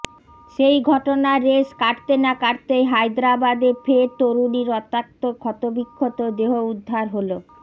সেই ঘটনার রেশ কাটতে না কাটতেই হায়দরাবাদে ফের তরুণীর রক্তাক্ত ক্ষতবিক্ষত দেহ উদ্ধার হল